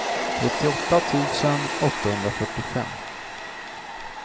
trettioåtta tusen åttahundrafyrtiofem